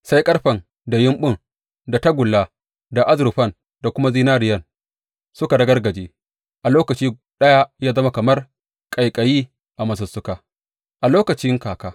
Sai ƙarfen da yambun da tagulla da azurfan da kuma zinariyan suka ragargaje a lokaci ɗaya ya zama kamar ƙaiƙayi a masussuka a lokacin kaka.